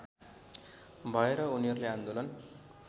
भएर उनीहरूले आन्दोलन